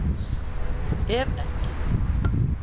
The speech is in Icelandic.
Ef ekki